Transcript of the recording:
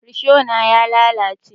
Risho na ya lalace